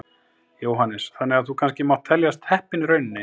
Jóhannes: Þannig að þú kannski mátt teljast heppinn í rauninni?